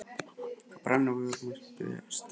Það brann á vörum hans að biðjast afsökunar.